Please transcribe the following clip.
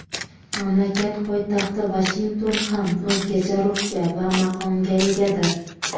Mamlakat poytaxti Vashington ham o‘zgacha ruhga va maqomga egadir.